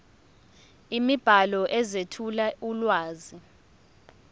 imibhalo ezethula ulwazi